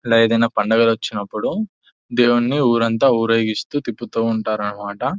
ఇలా ఏదైనా పండగలు వచ్చినప్పుడు దేవున్ని ఊరంతా ఊరేగిస్తూ తిప్పుతూ ఉంటారన్నమాట.